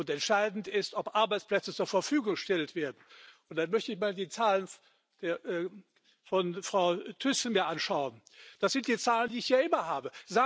Entscheidend ist, ob Arbeitsplätze zur Verfügung gestellt werden. Und dann möchte ich mir mal die Zahlen von Frau Thyssen anschauen. Das sind die Zahlen, die ich ja immer habe.